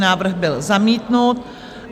Návrh byl zamítnut.